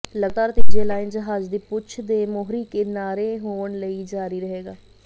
ਲਗਾਤਾਰ ਤੀਜੇ ਲਾਈਨ ਜਹਾਜ਼ ਦੀ ਪੂਛ ਦੇ ਮੋਹਰੀ ਕਿਨਾਰੇ ਹੋਣ ਲਈ ਜਾਰੀ ਰਹੇਗਾ